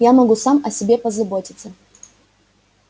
я могу сам о себе позаботиться